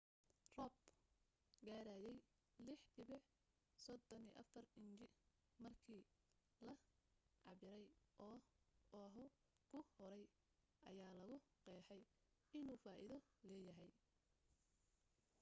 roob gaadhayay 6.34 inji markii la cabbiray oo oahu ku hooray ayaa lagu qeexay inuu faaiido leeyahay